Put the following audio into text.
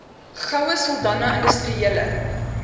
goue sultana industriele